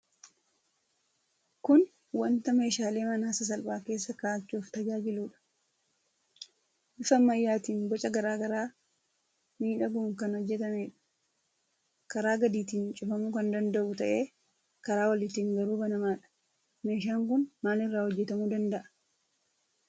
Kun wanta meeshaalee manaa sasalphaa keessa ka'achuuf tajaajiluudha. Bifa ammayyaatiin, boca garaa garaa miidhaguun kan hojjetameedha. Karaa gadiitiin cufamuu kan danda'u ta'ee, karaa oliitiin garuu banamaadha. Meeshaan kun maalirraa hojjetamuu danda'a?